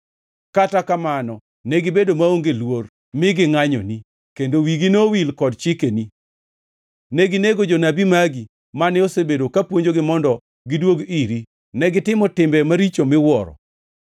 “Kata kamano negibedo maonge luor mi gingʼanyoni; kendo wigi nowil kod chikeni. Neginego jonabi magi; mane osebedo ka puonjogi mondo gidwog iri; negitimo timbe maricho miwuoro.